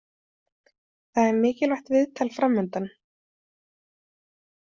Það er mikilvægt viðtal framundan.